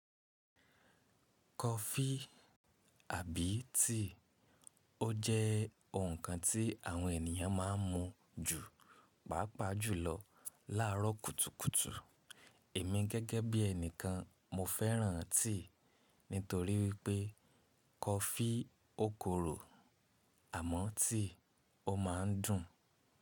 Kọfí àbí tíì, ó jẹ́ ǹkan tí àwọn ènìyàn má ń mu ju pàápàá jùlọ láàrọ́ kùtùkùtù. Èmi gẹ́gẹ́ bí ènìykàn, mo fẹ́ràn tíì nítorí wípé kọfí ó korò àmọ́ tíì ó má ń dùn.